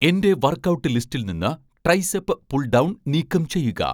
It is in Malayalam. എന്റെ വർക്ക്ഔട്ട് ലിസ്റ്റിൽ നിന്ന് ട്രൈസെപ്പ് പുൾ ഡൗൺ നീക്കം ചെയ്യുക